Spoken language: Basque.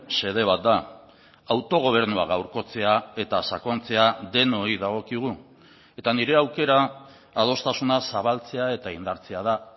xede bat da autogobernua gaurkotzea eta sakontzea denoi dagokigu eta nire aukera adostasuna zabaltzea eta indartzea da